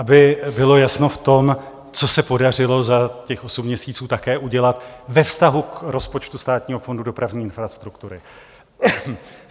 Aby bylo jasno v tom, co se podařilo za těch osm měsíců také udělat ve vztahu k rozpočtu Státního fondu dopravní infrastruktury.